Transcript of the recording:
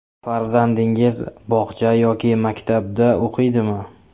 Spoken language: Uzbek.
Farzandingiz bog‘cha yoki maktabda o‘qiydimi ?